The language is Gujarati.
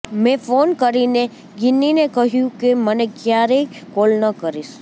મે ફોન કરીને ગિન્નીને કહ્યુ કે મને ક્યારેય કોલ ન કરીશ